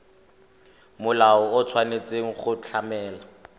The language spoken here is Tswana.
molao o tshwanetse go tlamela